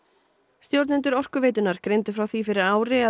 stjórnendur Orkuveitunnar greindu frá því fyrir ári að